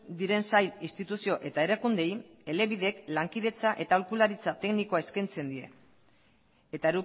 diren sail instituzio eta erakundeei elebidek lankidetza eta aholkularitza teknikoa eskaintzen die eta